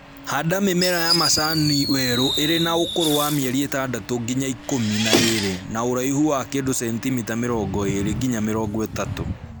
Handa mĩmera ya macani werũ ĩrĩ na ũkũrũ wa mĩerĩ ĩtandatũ nginya ikũmi na ĩrĩ na ũraihu wa kĩndũ sentimita mĩrongo ĩrĩ nginya mĩrongo ĩtatũ